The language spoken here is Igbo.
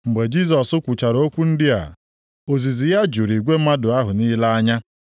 Mgbe Jisọs kwuchara okwu ndị a, ozizi ya juru igwe mmadụ ahụ niile anya.